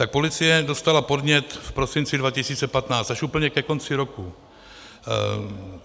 Tak policie dostala podnět v prosinci 2015, až úplně ke konci roku.